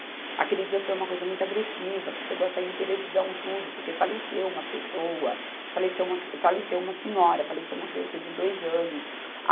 Aquele dia foi uma coisa muito agressiva, que chegou a sair em televisão e tudo, porque faleceu uma pessoa, faleceu uma cri, faleceu uma senhora, faleceu uma criança de dois anos. A